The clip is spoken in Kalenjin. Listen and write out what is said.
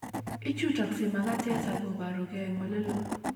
Ichutaksei makatet akoboru gee en oleloo